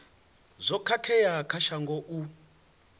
zwo khakhea kha shango u